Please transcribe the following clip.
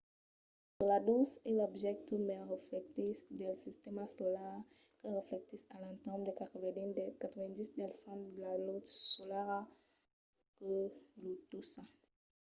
enceladus es l’objècte mai reflectissent del sistèma solar que reflectís a l'entorn de 90 del cent de la lutz solara que lo tòca